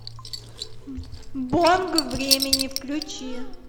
бонг времени включи